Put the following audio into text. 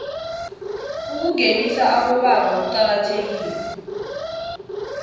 ukungenisa abobaba kuqakathekile